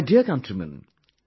My dear countrymen,